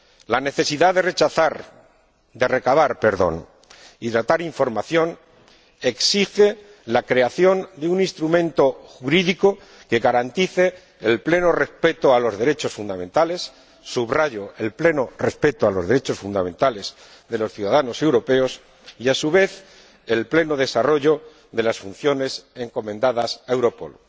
La necesidad de recabar y tratar información exige la creación de un instrumento jurídico que garantice el pleno respeto de los derechos fundamentales —subrayo, el pleno respeto de los derechos fundamentales de los ciudadanos europeos— y, a su vez, el pleno desarrollo de las funciones encomendadas a Europol.